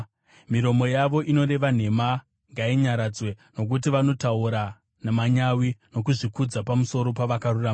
Miromo yavo inoreva nhema ngainyaradzwe, nokuti vanotaura namanyawi nokuzvikudza pamusoro pavakarurama.